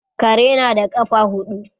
Kare na da kafa hudu